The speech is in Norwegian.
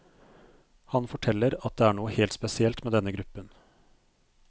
Han forteller at det er noe helt spesielt med denne gruppen.